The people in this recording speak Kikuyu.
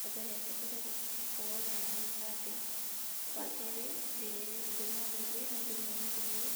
Wa mbere abataire gũkorwo e na gĩbandĩ, wa kerĩ ndĩmwarĩrie na ndĩmũmĩrĩrie,